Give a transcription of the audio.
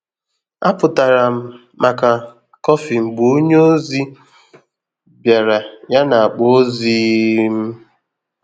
A pụtara m maka kofi mgbe ònye ozi biara ya na akpa ozi um m.